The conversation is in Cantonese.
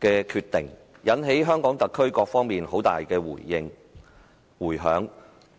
的決定，引起香港特區各方面很大迴響。